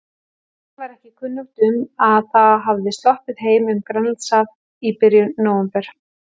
Þeim var ekki kunnugt um, að það hafði sloppið heim um Grænlandshaf í byrjun nóvember.